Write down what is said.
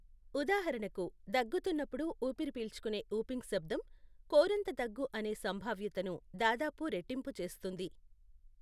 ఉదాహరణకు, దగ్గుతున్నప్పుడు ఊపిరి పీల్చుకునే వూపింగ్ శబ్దం, కోరింత దగ్గు అనే సంభావ్యతను దాదాపు రెట్టింపు చేస్తుంది.